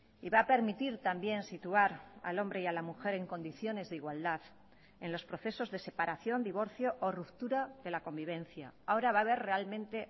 y va a permitir también situar al hombre y a la mujer en condiciones de igualdad en los procesos de separación divorcio o ruptura de la convivencia ahora va haber realmente